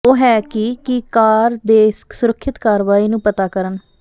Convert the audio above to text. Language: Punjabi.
ਉਹ ਹੈ ਕਿ ਕੀ ਕਾਰ ਦੇ ਸੁਰੱਖਿਅਤ ਕਾਰਵਾਈ ਨੂੰ ਪਤਾ ਕਰਨ